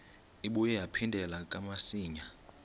ibuye yaphindela kamsinya